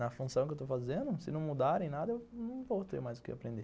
Na função que eu estou fazendo, se não mudarem nada, eu não vou ter mais o que aprender.